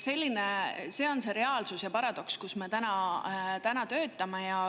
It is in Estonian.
See on reaalsus ja paradoks, milles me täna töötame.